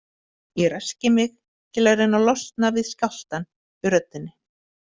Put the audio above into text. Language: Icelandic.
Ég ræski mig til að reyna að losna við skjálftann í röddinni.